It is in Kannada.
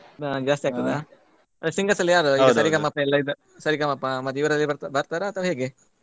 ಹಾ ಜಾಸ್ತಿ ಆಗ್ತದಾ? Singer ಎಲ್ಲ ಯಾರು ಸರಿಗಮಪ ಎಲ್ಲ ಸರಿಗಮಪ ಮತ್ತೆ ಬರ್ತಾರ ಅಥವಾ ಹೇಗೆ?